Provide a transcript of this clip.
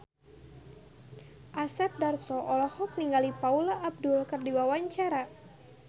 Asep Darso olohok ningali Paula Abdul keur diwawancara